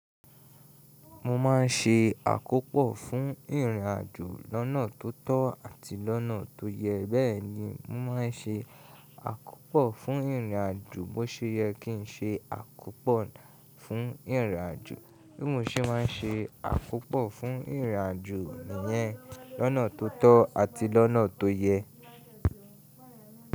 Mo ma n ṣe àkópò fún ìrìnàjò lọ́nà tó tọ́ àti lọ́nà tó yẹ bẹ́ẹ̀ni, mo ma n ṣe àkópò fún ìrìnàjò bó ṣe yẹ kí n ṣe àkópò fún ìrìnàjò bí mo ṣe ma n ṣe àkópò fún ìrìnàjò iyẹn lọ́nà tó tọ́ àti lọ́nà tó yẹ.